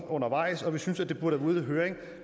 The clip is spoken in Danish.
undervejs og vi synes det burde ude i høring